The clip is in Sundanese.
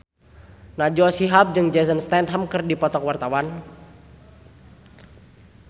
Najwa Shihab jeung Jason Statham keur dipoto ku wartawan